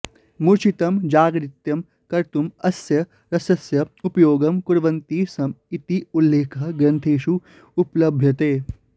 मूर्छितं जागरितं कर्तुं अस्य रसस्य उपयोगं कुर्वन्ति स्म इति उल्लेखः ग्रन्थेषु उपलभ्यते